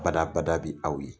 Badabada bi aw ye .